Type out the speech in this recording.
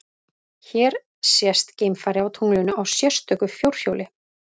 Hér sést geimfari á tunglinu á sérstöku fjórhjóli.